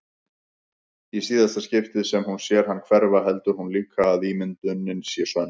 Í síðara skiptið sem hún sér hann hverfa heldur hún líka að ímyndunin sé sönn.